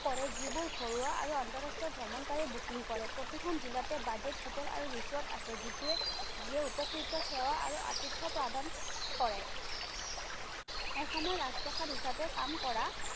কৰে যিবোৰ ঘৰুৱা আৰু আন্তঃৰাষ্ট্ৰীয় ভ্ৰমণকাৰীয়ে booking কৰে। প্ৰতিখন জিলাতে বাজেট হোটেল আৰু resort আছে, যিটোৱে যিয়ে উপকৃত সেৱা আৰু আতিথ্য প্ৰদান কৰে। এসময়ত ৰাজপ্ৰসাদ হিচাপে কাম কৰা